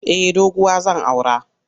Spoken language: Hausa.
Eh doguwa zan aura.